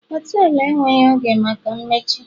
họtelu enweghị oge maka mmechi